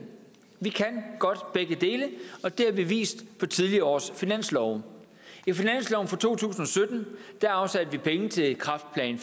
vi kan godt begge dele og det har vi vist med tidligere års finanslove i finansloven for to tusind og sytten afsatte vi penge til kræftplan